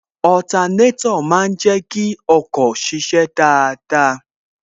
Otanétò má ń jẹ kí ọkọ̀ ṣiṣẹ́ dáadáa